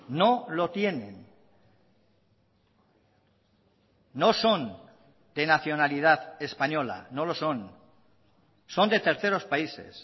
no lo tienen no son de nacionalidad española no lo son son de terceros países